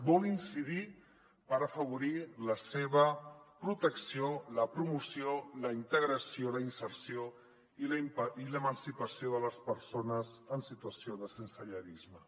vol incidir per afavorir la seva protecció la promoció la integració la inserció i l’emancipació de les persones en situació de sensellarisme